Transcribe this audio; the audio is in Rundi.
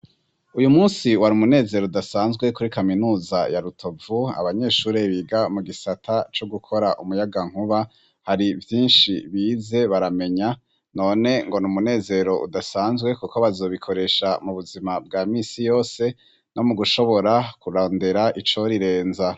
Uyu munsi wari umunezero udasanzwe kuri kaminuza ya Rutovu abanyeshuri biga mu gisata co gukora umuyaga nkuba hari vyinshi bize baramenya none ngo n'umunezero udasanzwe kuko bazobikoresha mu buzima bwa misi yose no mu gushobora kurondera icorirenza.